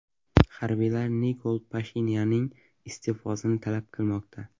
Harbiylar Nikol Pashinyanning iste’fosini talab qilmoqda.